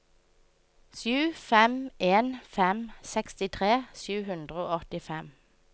sju fem en fem sekstitre sju hundre og åttifem